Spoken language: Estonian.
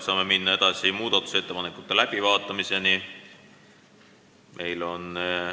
Saame minna muudatusettepanekute läbivaatamise juurde.